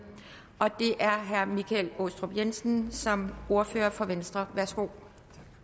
og det er herre michael aastrup jensen som ordfører for venstre værsgo